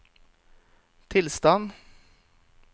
tilstand